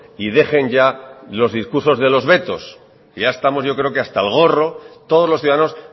y dejen ya los discursos de los vetos que ya estamos yo creo hasta el gorro todos los ciudadanos